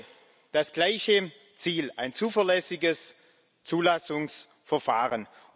Wir haben alle das gleiche Ziel ein zuverlässiges Zulassungsverfahren.